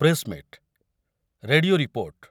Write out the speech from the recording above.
press meet radio report